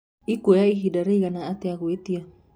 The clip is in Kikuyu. ĩkũoya ĩhĩnda rĩĩgana atĩa gũĩtĩa